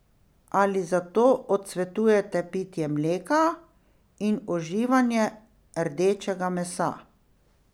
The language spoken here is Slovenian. Ali zato odsvetuje pitje mleka in uživanje rdečega mesa?